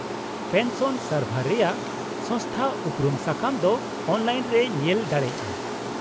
-Pension ᱥᱟᱨᱵᱷᱟᱨ ᱨᱮᱭᱟᱹ ᱥᱚᱝᱥᱛᱷᱟ ᱩᱯᱨᱩᱢ ᱥᱟᱠᱟᱢ ᱫᱚ ᱚᱱᱞᱟᱭᱤᱱ ᱨᱮᱭ ᱧᱮᱞ ᱫᱟᱲᱮᱭᱟᱜᱼᱟ ᱾